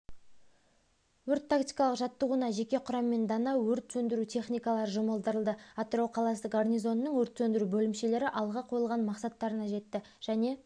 өрт тактикалық жаттығуына жеке құраммен дана өрт сөндіру техникалары жұмылдырылды атырау қаласы гарнизонының өрт сөндіру бөлімшелері алға қойған мақсаттарына жетті және